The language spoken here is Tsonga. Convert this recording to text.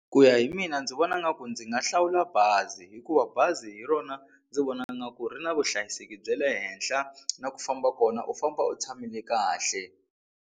Ku ya hi mina ndzi vona nga ku ndzi nga hlawula bazi hikuva bazi hi rona ndzi vona nga ku ri na vuhlayiseki bya le henhla na ku famba kona u famba u tshamile kahle.